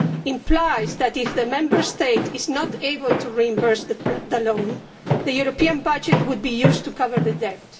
implies that if a Member State is not able to reimburse the loan, the European budget would be used to cover the debt.